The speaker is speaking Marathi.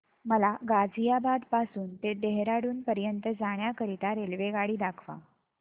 मला गाझियाबाद पासून ते देहराडून पर्यंत जाण्या करीता रेल्वेगाडी दाखवा